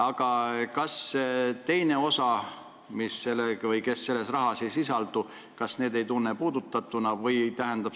Aga kas teine osa, kes n-ö selles rahas ei sisaldu, ei tunne ennast puudutatuna?